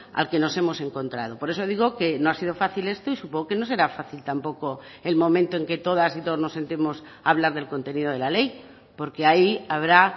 al que nos hemos encontrado por eso digo que no ha sido fácil esto y supongo que no será fácil tampoco el momento en que todas y todos nos sentimos a hablar del contenido de la ley porque ahí habrá